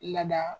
Lada